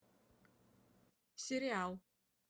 сериал